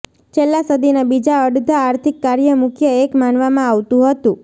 છેલ્લા સદીના બીજા અડધા આર્થિક કાર્ય મુખ્ય એક માનવામાં આવતું હતું